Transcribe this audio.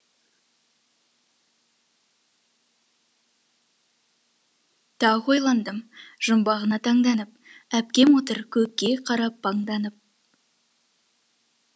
тағы ойландым жұмбағына таңданып әпкем отыр көкке қарап паңданып